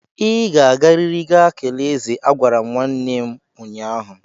Ị ga-agariri ga kelee eze! Agwara m nwanne m ụnyahụ.